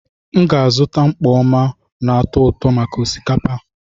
M ga-azụta mkpọ oma na atu-uto maka osikapa.